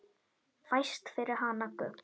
Fæst fyrir hana gull.